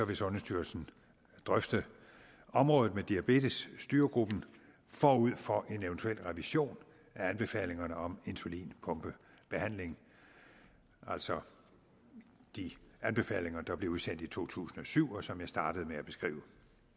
vil sundhedsstyrelsen drøfte området med diabetesstyregruppen forud for en eventuel revision af anbefalingerne om insulinpumpebehandling altså de anbefalinger der blev udsendt i to tusind og syv og som jeg startede med at beskrive